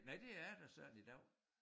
Nej det er da sådan i dag